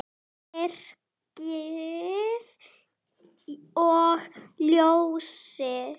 Myrkrið og ljósið.